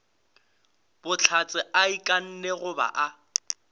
bohlatse a ikanne goba a